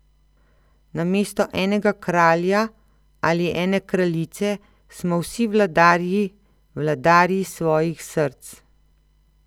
Namesto enega kralja ali ene kraljice smo vsi vladarji, vladarji svojih src.